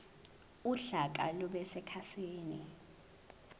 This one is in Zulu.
uhlaka lube sekhasini